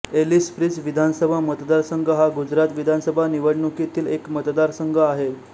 एलिसब्रिज विधानसभा मतदारसंघ हा गुजरात विधानसभा निवडणुकीतील एक मतदारसंघ आहे